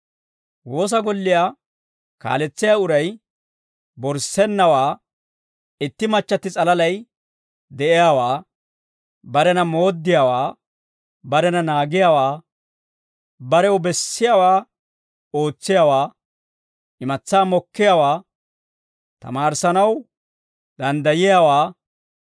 Woosa golliyaa kaaletsiyaa uray borissennawaa, itti machchatti s'alalay de'iyaawaa, barena mooddiyaawaa, barena naagiyaawaa, barew bessiyaawaa ootsiyaawaa, imatsaa mokkiyaawaa, tamaarissanaw danddayiyaawaa,